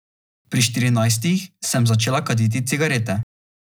Pri štirinajstih sem začela kaditi cigarete.